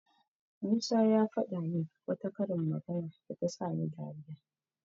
Musa ya faɗa min wata karin magana da ta sani dariya.